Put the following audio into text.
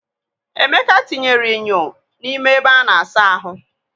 Emeka tinyere enyo n'ime ebe a na-asa ahụ.